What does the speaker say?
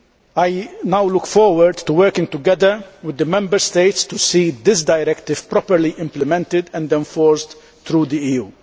I now look forward to working together with the Member States to see this directive properly implemented and enforced throughout the EU.